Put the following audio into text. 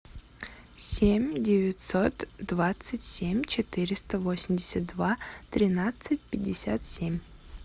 семь девятьсот двадцать семь четыреста восемьдесят два тринадцать пятьдесят семь